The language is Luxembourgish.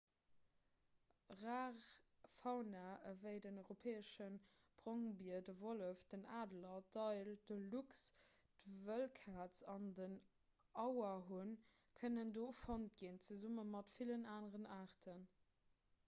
rar fauna ewéi den europäesche brongbier de wollef den adler d'éil de luchs d'wëllkaz an den auerhunn kënnen do fonnt ginn zesumme mat villen aneren aarten